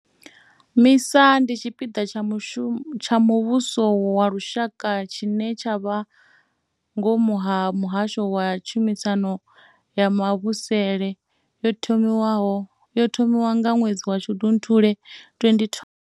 MISA ndi tshipiḓa tsha muvhuso wa lushaka tshine tsha vha ngomu ha muhasho wa tshumisano ya mavhusele. Yo thomiwa nga ṅwedzi wa Shundunthule 2012.